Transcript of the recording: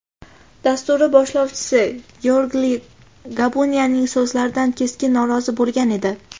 dasturi boshlovchisi Georgiy Gabuniyaning so‘zlaridan keskin norozi bo‘lgan edi.